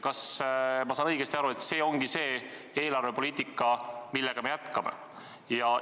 Kas ma saan õigesti aru, et see ongi see eelarvepoliitika, mida me jätkame?